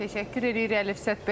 Təşəkkür edirik Əlifşət bəy.